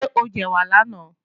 Ṣé o jẹ̀wà lánàá?